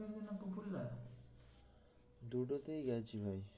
দুটোতেই গেছি ভাই